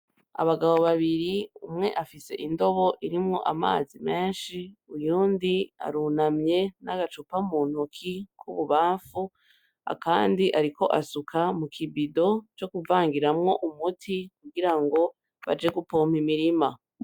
Abagabo babiri umwe afise indobo irimwo amazi meshi uyundi arunamye n'agacupa m'untoki kububanfu akandi ariko asuka m'ukibido co kuvangiramwo umuti kugirango baje gupompa imirima.